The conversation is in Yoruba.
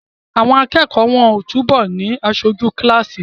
Àwọn akẹ́kọ̀ọ́ wọ́n ó túbọ̀ ni aṣojú kíláàsì